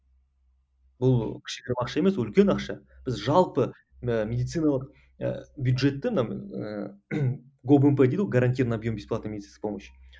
бұл кішігірім ақша емес үлкен ақша біз жалпы ыыы медициналық ы бюджетті дейді ғой гарантированный объем бесплатной медицинской помощи